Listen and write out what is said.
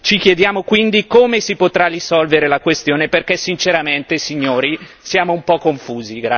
Ci chiediamo quindi come si potrà risolvere la questione, perché sinceramente, signori, siamo un po' confusi.